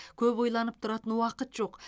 көп ойланып тұратын уақыт жоқ